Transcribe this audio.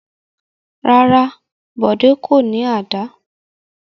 Rárá, Bọ̀dé kò ní àdá.